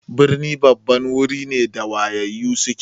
Birni babban wuri ne da wayayyu suke.